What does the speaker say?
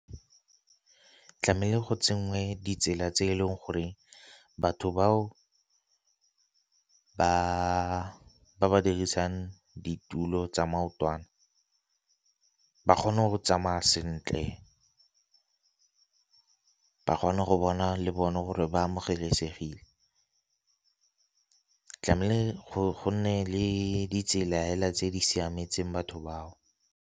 Tlamehile go tsenngwe ditsela tse e leng gore batho bao batho ba dirisang ditulo tsa maotwana ba kgone go tsamaya sentle, ba kgone go bona le bone gore ba amogelesegile. Tlamehile go nne le ditsela hela tse di siametseng batho bao.